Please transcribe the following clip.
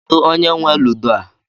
Kedụ onye nwe ludo a?